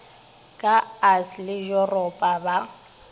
ka us le yuropa ba